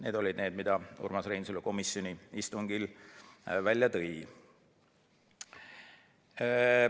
Need olid ettepanekud, mis Urmas Reinsalu komisjoni istungil välja tõi.